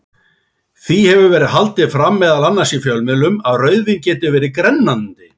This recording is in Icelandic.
Því hefur verið haldið fram, meðal annars í fjölmiðlum, að rauðvín geti verið grennandi.